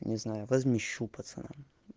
не знаю возмещу пацанам